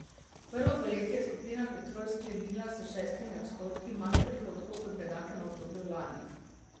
Prvo polletje je skupina Petrol sklenila s šestimi odstotki manj prihodkov kot v enakem obdobju lani.